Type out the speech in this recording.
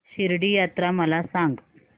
शिर्डी यात्रा मला सांग